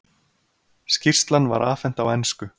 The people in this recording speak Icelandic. Skýrslan var afhent á ensku.